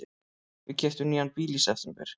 Við keyptum nýjan bíl í september.